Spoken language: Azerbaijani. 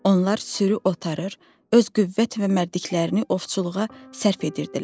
Onlar sürü otarır, öz qüvvət və mərdiklərini ovçuluğa sərf edirdilər.